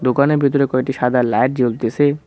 দোকানের ভেতরে কয়েকটি সাদা লাইট জ্বলতেসে।